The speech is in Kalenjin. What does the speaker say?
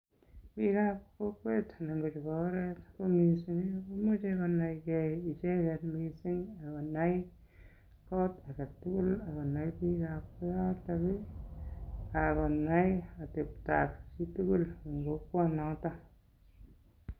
Bikab kokwet anan ko chebo oret ko mising komuche konai ge icheget mising ak konai kot age tugul ak konai biikab kooton ii akonai ateptab chitugul en kokwonoto.